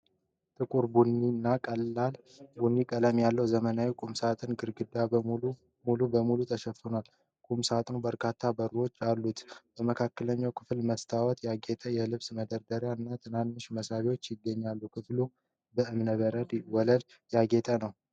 ጥቁር ቡኒ እና ቀላል ቡኒ ቀለም ያለው ዘመናዊ ቁም ሳጥን ግድግዳውን ሙሉ በሙሉ ሸፍኗል። ቁም ሳጥኑ በርካታ በሮች አሉት። በመካከለኛ ክፍል በመስታወት ያጌጠ የልብስ መደርደሪያ እና ትናንሽ መሳቢያዎች ይገኛሉ። ክፍሉ በእብነበረድ ወለል ያጌጠ ነው።